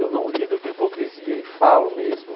Eu não lido com hipocrisia e falo mesmo.